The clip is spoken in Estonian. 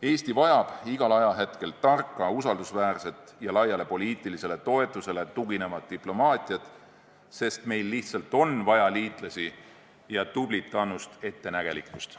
Eesti vajab igal ajahetkel tarka, usaldusväärset ja laiale poliitilisele toetusele tuginevat diplomaatiat, sest meil lihtsalt on vaja liitlasi ja tublit annust ettenägelikkust.